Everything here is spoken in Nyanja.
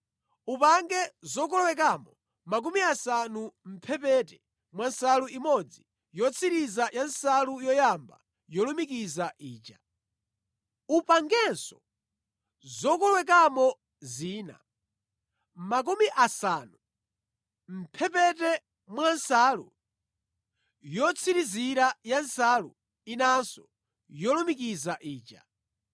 Upange zokolowekamo 50 mʼmphepete mwa nsalu imodzi yotsirizira ya nsalu yoyamba yolumikiza ija. Upangenso zokolowekamo zina 50 mʼmphepete mwa nsalu yotsirizira ya nsalu inanso yolumikiza ija.